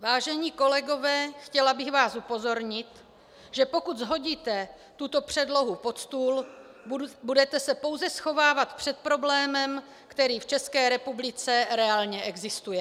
Vážení kolegové, chtěla bych vás upozornit, že pokud shodíte tuto předlohu pod stůl, budete se pouze schovávat před problémem, který v České republice reálně existuje.